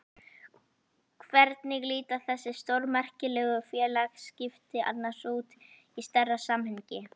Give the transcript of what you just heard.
Hvernig líta þessi stórmerkilegu félagsskipti annars út í stærra samhengi?